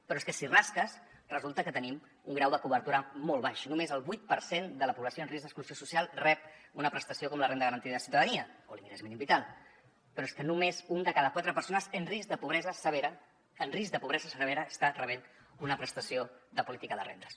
però és que si rasques resulta que tenim un grau de cobertura molt baix només el vuit per cent de la població en risc d’exclusió social rep una prestació com la renda garantida de ciutadania o l’ingrés mínim vital però és que només una de cada quatre persones en risc de pobresa severa en risc de pobresa severa està rebent una prestació de política de rendes